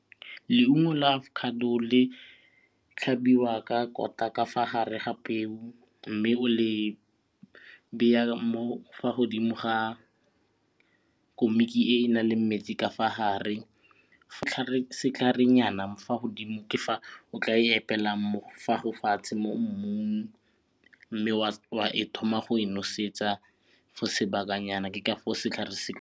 Leungo la avocado le tlhabiwa ka kota ka fa gare ga peo mme o le beya mo fa godimo ga komiki e e nang le metsi ka fa gare fa godimo ke fa o tla e epelang mo mmung mme wa e thoma go e nosetsa for sebakanyana ke ka foo setlhare se.